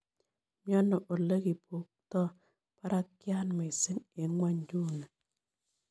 Miano olegibutok parakiat miising 'eng' ng'wonynduni